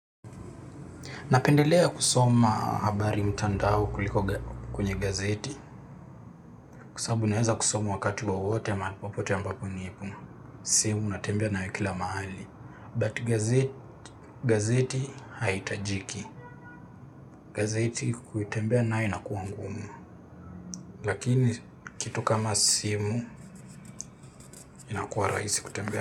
Napendelea kusoma habari mtandao kuliko kwenye gazeti. Kwa sababu naweza kusoma wakati wowote mahali popote ambapo nipo. Simu natembea nayo kila mahali. But gazeti haihitajiki. Gazeti kutembea nayo inakuwa ngumu. Lakini kitu kama simu inakuwa rahisi kutembea.